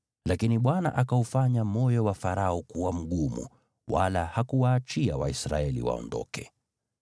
Lakini Bwana akaufanya moyo wa Farao kuwa mgumu, wala hakuwaachia Waisraeli waondoke.